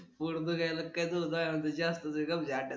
पोर त काही नाही